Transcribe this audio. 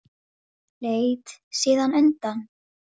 Ég er ekki aðeins ljón.